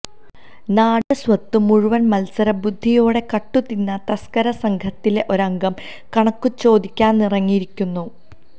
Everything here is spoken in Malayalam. നാടിന്റെ സ്വത്തു മുഴുവന് മത്സരബുദ്ധിയോടെ കട്ടു തിന്ന തസ്കര സംഘത്തിലെ ഒരംഗം കണക്കു ചോദിയ്ക്കാനിറങ്ങിയിരിക്കുന്നു